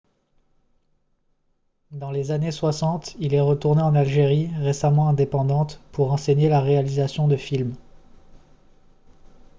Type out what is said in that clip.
dans les années 60 il est retourné en algérie récemment indépendante pour enseigner la réalisation de films